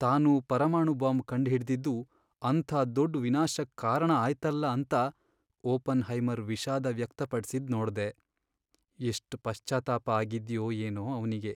ತಾನು ಪರಮಾಣು ಬಾಂಬ್ ಕಂಡ್ಹಿಡ್ದಿದ್ದು ಅಂಥ ದೊಡ್ ವಿನಾಶಕ್ಕ್ ಕಾರಣ ಆಯ್ತಲ್ಲ ಅಂತ ಓಪನ್ಹೈಮರ್ ವಿಷಾದ ವ್ಯಕ್ತಪಡ್ಸಿದ್ ನೋಡ್ದೆ, ಎಷ್ಟ್ ಪಶ್ಚಾತ್ತಾಪ ಆಗಿದ್ಯೋ ಏನೋ ಅವ್ನಿಗೆ.